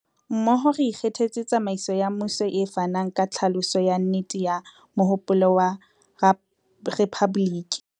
Mmoho, re ikgethetse tsamaiso ya mmuso e fanang ka tlhaloso ya nnete ya mohopolo wa rephaboliki.